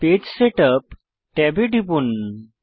page setup ট্যাবে টিপুন